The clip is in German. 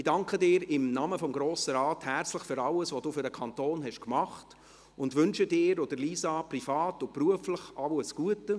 Ich danke Ihnen im Namen des Grossen Rates herzlich für alles, was Sie für den Kanton getan haben, und wünsche Ihnen und Lisa privat und beruflich alles Gute.